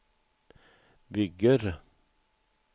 bygger